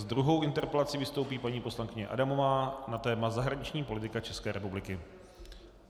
S druhou interpelací vystoupí paní poslankyně Adamová na téma zahraniční politika České republiky.